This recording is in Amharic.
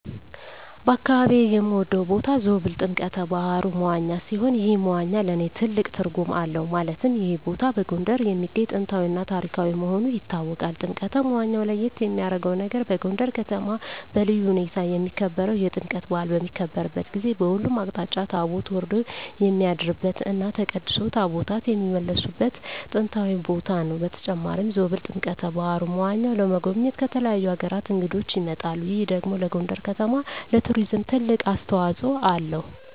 በአካባቢየ የምወደው ቦታ ዞብል ጥምቀተ ባህሩ (መዋኛ) ሲሆን ይህ መዋኛ ለእኔ ትልቅ ትርጉም አለው ማለትም ይህ ቦታ በጎንደር የሚገኝ ጥንታዊ እና ታሪካዊ መሆኑ ይታወቃል። ጥምቀተ መዋኛው ለየት የሚያረገው ነገር በጎንደር ከተማ በልዩ ሁኔታ የሚከበረው የጥምቀት በአል በሚከበርበት ጊዜ በሁሉም አቅጣጫ ታቦት ወርዶ የሚያድርበት እና ተቀድሶ ታቦታት የሚመለስበት ጥንታዊ ቦታ ነው። በተጨማሪም ዞብል ጥምቀተ በሀሩ (መዋኛው) ለመጎብኘት ከተለያዩ አገራት እንግዶች ይመጣሉ ይህ ደግሞ ለጎንደር ከተማ ለቱሪዝም ትልቅ አስተዋጽኦ አለው።